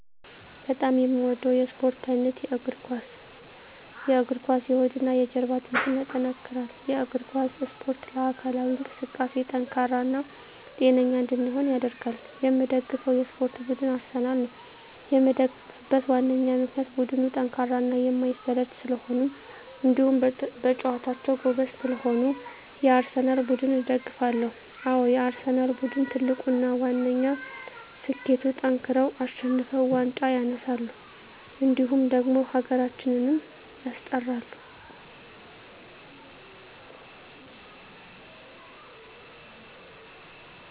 በጣም የምወደው የስፓርት አይነት የእግር ኳስ። የእግር ኳስ የሆድና የጀርባ አጥንትን ያጠነክራል። የእግር ኳስ እስፖርት ለአካላዊ እንቅስቃሴ ጠንካራ እና ጤነኛ እንድንሆን ያደርጋል። የምደግፈው የስፓርት ቡድን አርሰናል ነው። የምደግፍበት ዋነኛ ምክንያት ቡድኑ ጠንካራና የማይሰለች ስለሆኑ እንዲሁም በጨዋታቸው ጎበዝ ስለሆኑ የአርሰናል ቡድንን እደግፋለሁ። አዎ የአርሰናል ቡድን ትልቁና ዋነኛ ስኬቱጠንክረው አሸንፈው ዋንጫ ያነሳሉ እንዲሁም ደግሞ ሀገራችንም ያስጠራሉ።